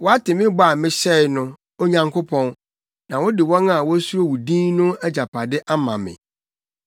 Woate me bɔ a mehyɛe no, Onyankopɔn; na wode wɔn a wosuro wo din no agyapade ama me.